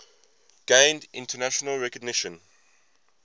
gained international recognition